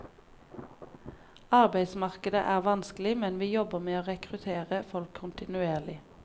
Arbeidsmarkedet er vanskelig, men vi jobber med å rekruttere folk kontinuerlig.